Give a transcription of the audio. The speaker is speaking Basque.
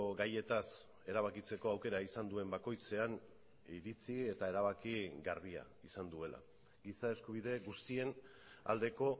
gaietaz erabakitzeko aukera izan duen bakoitzean iritzi eta erabaki garbia izan duela giza eskubide guztien aldeko